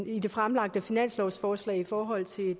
i det fremlagte finanslovsforslag i forhold til